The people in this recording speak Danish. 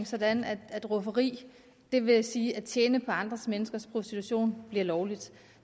sådan at rufferi det vil sige at tjene på andre menneskers prostitution bliver lovligt